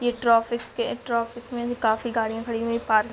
ये ट्रॉफिक के ट्रॉफिक में काफी गाड़ियाँ खड़ी हुई है पार्क --